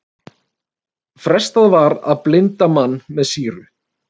Frestað að blinda mann með sýru